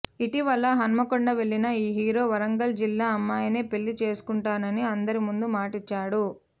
ఇటీవల హన్మకొండ వెళ్లిన ఈ హీరో వరంగల్ జిల్లా అమ్మాయినే పెళ్లి చేసుకుంటానని అందరి ముందు మాట ఇచ్చాడు